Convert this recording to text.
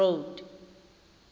road